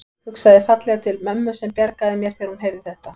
Hugsaði fallega til mömmu sem bjargaði mér þegar hún heyrði þetta.